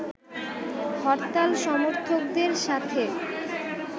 হরতাল সমর্থকদের সাথে